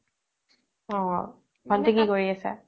অ ভন্তি কি কৰি আছে